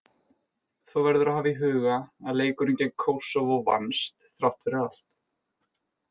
Þó verður að hafa í huga að leikurinn gegn Kósóvó vannst, þrátt fyrir allt.